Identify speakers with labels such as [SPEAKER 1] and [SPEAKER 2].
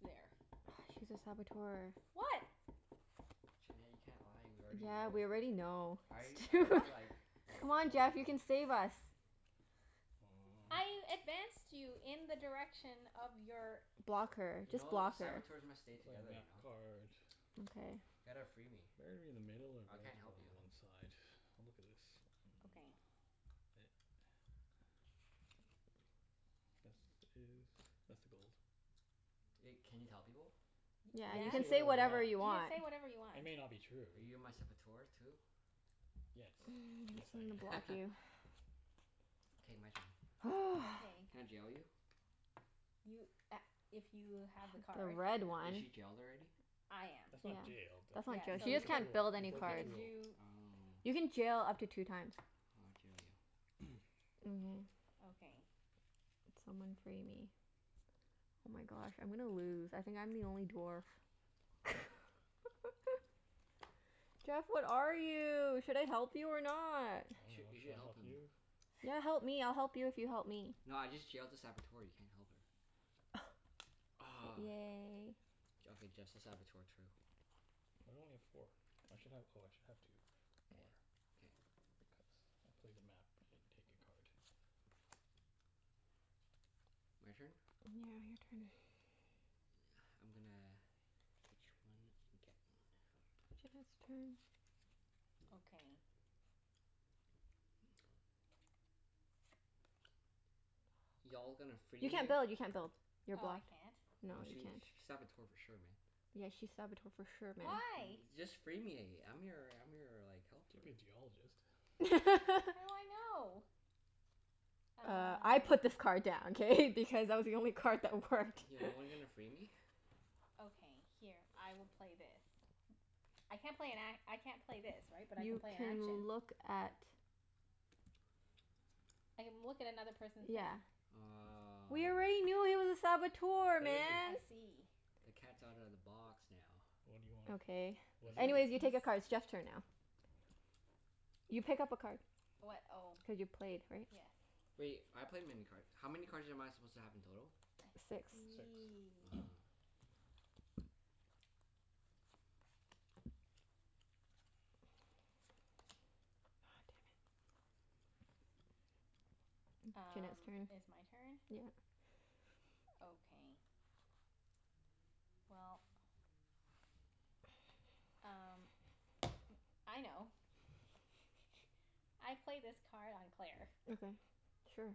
[SPEAKER 1] There.
[SPEAKER 2] Ah, she's a Saboteur.
[SPEAKER 1] What?
[SPEAKER 3] Junette, you can't lie. We already
[SPEAKER 2] Yeah,
[SPEAKER 3] know.
[SPEAKER 2] we already know.
[SPEAKER 3] I
[SPEAKER 2] It's too
[SPEAKER 3] I do
[SPEAKER 1] Wha-
[SPEAKER 3] like, like
[SPEAKER 2] Come on
[SPEAKER 3] told
[SPEAKER 2] Jeff, you
[SPEAKER 3] people.
[SPEAKER 2] can save us.
[SPEAKER 1] I
[SPEAKER 4] Mm.
[SPEAKER 1] advanced you in the direction of your
[SPEAKER 2] Block her.
[SPEAKER 3] You
[SPEAKER 2] Just
[SPEAKER 3] know,
[SPEAKER 2] block her.
[SPEAKER 3] Saboteurs must stay
[SPEAKER 4] I play a
[SPEAKER 3] together, you
[SPEAKER 4] map
[SPEAKER 3] know?
[SPEAKER 4] card.
[SPEAKER 2] Okay.
[SPEAKER 3] Ya gotta free me.
[SPEAKER 4] Better to be in the middle or
[SPEAKER 3] I
[SPEAKER 4] better
[SPEAKER 3] can't
[SPEAKER 4] to be
[SPEAKER 3] help
[SPEAKER 4] on
[SPEAKER 3] you.
[SPEAKER 4] the one side? I'll look at this. Mm.
[SPEAKER 1] Okay.
[SPEAKER 4] It This is, that's the gold.
[SPEAKER 3] Wait, can you tell people?
[SPEAKER 1] Y-
[SPEAKER 2] Yeah,
[SPEAKER 4] I
[SPEAKER 2] you
[SPEAKER 1] yeah.
[SPEAKER 4] can
[SPEAKER 1] You
[SPEAKER 2] can
[SPEAKER 4] say
[SPEAKER 1] can
[SPEAKER 2] say
[SPEAKER 1] say
[SPEAKER 4] whatever
[SPEAKER 2] whatever
[SPEAKER 4] I
[SPEAKER 2] you
[SPEAKER 4] want.
[SPEAKER 2] want.
[SPEAKER 1] whatever you want.
[SPEAKER 4] It may not be true.
[SPEAKER 3] Are you my Saboteur too?
[SPEAKER 4] Yes. Yes,
[SPEAKER 2] Guess I'm gonna
[SPEAKER 4] I am.
[SPEAKER 2] block you.
[SPEAKER 3] K, my turn.
[SPEAKER 1] Okay.
[SPEAKER 3] Can I jail you?
[SPEAKER 1] You a- if you have the
[SPEAKER 2] The
[SPEAKER 1] card.
[SPEAKER 2] red
[SPEAKER 3] Is
[SPEAKER 2] one.
[SPEAKER 3] she jailed already?
[SPEAKER 1] I am.
[SPEAKER 4] That's not
[SPEAKER 2] Yeah.
[SPEAKER 4] jailed. That
[SPEAKER 2] That's
[SPEAKER 4] You broke
[SPEAKER 1] Yeah.
[SPEAKER 2] not jail.
[SPEAKER 1] So
[SPEAKER 2] She just
[SPEAKER 1] you
[SPEAKER 4] a
[SPEAKER 1] can,
[SPEAKER 2] can't
[SPEAKER 4] tool.
[SPEAKER 2] build
[SPEAKER 4] You
[SPEAKER 2] any
[SPEAKER 1] you
[SPEAKER 4] broke a
[SPEAKER 2] cards.
[SPEAKER 1] can
[SPEAKER 4] tool.
[SPEAKER 1] do
[SPEAKER 3] Oh.
[SPEAKER 2] You can jail up to two times.
[SPEAKER 3] I'll jail you.
[SPEAKER 2] Mhm.
[SPEAKER 1] Okay.
[SPEAKER 2] Someone free me. Oh my gosh, I'm gonna lose. I think I'm the only dwarf. Jeff, what are you? Should I help you or not?
[SPEAKER 4] I
[SPEAKER 3] You sh-
[SPEAKER 4] dunno.
[SPEAKER 3] you should
[SPEAKER 4] Should I
[SPEAKER 3] help
[SPEAKER 4] help
[SPEAKER 3] him.
[SPEAKER 4] you?
[SPEAKER 2] Yeah, help me. I'll help you if you help me.
[SPEAKER 3] No, I just jailed a Saboteur. You can't help her. Aw.
[SPEAKER 2] Yay.
[SPEAKER 3] J- okay, just the Saboteur, true.
[SPEAKER 4] Why do I only get four? I should have, oh I should have two.
[SPEAKER 3] K.
[SPEAKER 4] More.
[SPEAKER 3] K.
[SPEAKER 4] Because I play the map and take a card.
[SPEAKER 3] My turn?
[SPEAKER 2] Yeah, your turn.
[SPEAKER 3] I'm gonna ditch one and get one.
[SPEAKER 2] Jeff has a turn.
[SPEAKER 1] Okay.
[SPEAKER 3] Y'all gonna free
[SPEAKER 2] You
[SPEAKER 3] me?
[SPEAKER 2] can't build. You can't build. You're
[SPEAKER 1] Oh, I
[SPEAKER 2] blocked.
[SPEAKER 1] can't?
[SPEAKER 2] No,
[SPEAKER 3] Nah,
[SPEAKER 2] you
[SPEAKER 3] she
[SPEAKER 2] can't.
[SPEAKER 3] sh- she's Saboteur for sure, man.
[SPEAKER 2] Yeah, she's Saboteur for sure, man.
[SPEAKER 1] Why?
[SPEAKER 3] Y- just free me. I'm your I'm your like, helper.
[SPEAKER 4] Could be a Geologist.
[SPEAKER 1] How do I know?
[SPEAKER 2] Uh, I put
[SPEAKER 1] Uh
[SPEAKER 2] this card down, k? Because it was the only card that worked.
[SPEAKER 3] Yeah, no one gonna free me?
[SPEAKER 1] Okay, here. I will play this. I can't play an a- I can't play this, right? But I can
[SPEAKER 2] You
[SPEAKER 1] play an
[SPEAKER 2] can
[SPEAKER 1] action?
[SPEAKER 2] look at
[SPEAKER 1] I can look at another person's
[SPEAKER 2] Yeah.
[SPEAKER 1] hand.
[SPEAKER 3] Aw.
[SPEAKER 2] We already knew he was a Saboteur,
[SPEAKER 4] What is he?
[SPEAKER 2] man!
[SPEAKER 1] I see.
[SPEAKER 3] The cat's outta the box now.
[SPEAKER 4] What do you want?
[SPEAKER 2] Okay.
[SPEAKER 4] What do
[SPEAKER 2] Anyways,
[SPEAKER 4] you
[SPEAKER 2] you take a
[SPEAKER 1] He's
[SPEAKER 2] card. It's Jeff's turn now. You pick up a card.
[SPEAKER 1] What? Oh.
[SPEAKER 2] Cuz you played, right?
[SPEAKER 1] Yes.
[SPEAKER 3] Wait, I played many card, how many cards am I supposed to have in total?
[SPEAKER 1] I
[SPEAKER 2] Six.
[SPEAKER 4] Six.
[SPEAKER 1] see.
[SPEAKER 3] Ah.
[SPEAKER 2] Aw, damn it. Junette's
[SPEAKER 1] Um,
[SPEAKER 2] turn.
[SPEAKER 1] it's my turn?
[SPEAKER 2] Yeah.
[SPEAKER 1] Okay. Well, um m- I know. I play this card on Claire.
[SPEAKER 2] Okay, sure.